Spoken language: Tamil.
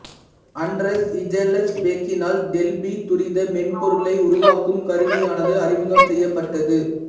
அண்டரஸ் ஹிஜல்ஸ்பேக்கினால் டெல்பி துரித மென்பொருளை உருவாக்கும் கருவியானது அறிமுகம் செய்யப் பட்டது